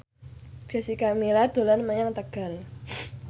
Jessica Milla dolan menyang Tegal